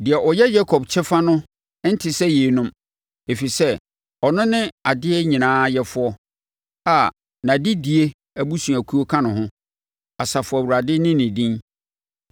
Deɛ ɔyɛ Yakob Kyɛfa no nte sɛ yeinom, ɛfiri sɛ ɔno ne adeɛ nyinaa Yɛfoɔ a nʼadedie abusuakuo ka ho bi. Asafo Awurade ne ne din.